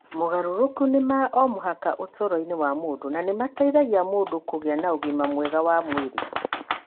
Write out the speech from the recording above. Mogarũrũku nĩ ma o mũhaka ũtũũro-inĩ wa mũndũ, na nĩ mateithagia mũndũ kũgĩa na ũgima mwega wa mwĩrĩ.